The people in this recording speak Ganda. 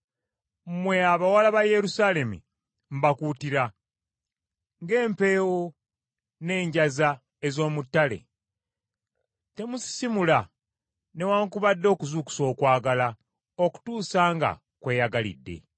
Mmwe abawala ba Yerusaalemi, mbakuutira, ng’empeewo n’enjaza ez’omu ttale, temusisimula newaakubadde okuzuukusa okwagala okutuusa nga kweyagalidde.